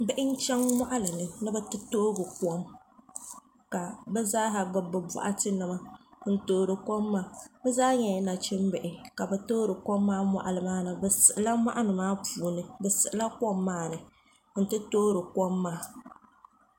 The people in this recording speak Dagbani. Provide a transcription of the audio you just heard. Bihi n chɛŋ moɣali ni ni bi ti toogi kom ka bi zaaha gbubi bi boɣati nima n toori kom maa bi zaa nyɛla nachimbihi ka bi toori kom maa moɣali maa ni bi siɣila moɣali maa puuni bi siɣila kom maa ni n ti toori kom maa